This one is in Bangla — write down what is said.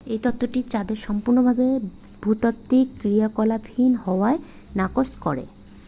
এই তত্ত্বটি চাঁদের সম্পূর্ণ ভাবে ভূতাত্ত্বিক ক্রিয়াকলাপহীন হওয়াকে নাকচ করে